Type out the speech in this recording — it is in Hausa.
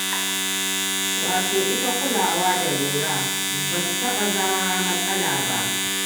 Wato ita kulawa da lura ba su taɓa zama matsala ba.